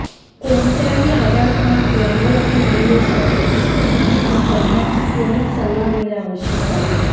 कोणत्याही आजारपणास गर्भवती महिलेसाठी इष्ट नाही आणि तज्ञांची त्वरित सल्ला घेणे आवश्यक आहे